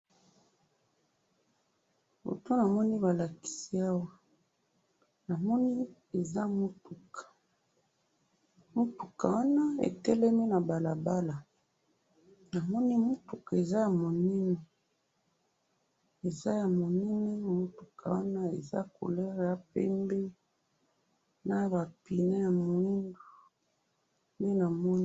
Foto namoni balakisi awa, namoni eza mutuka, mutuka wana etelemi nabalabala, namoni mutuka eza ya munene, eza ya munene mutuka wana, eza couleur ya pembe, nabapine ya mwindu, nde namoni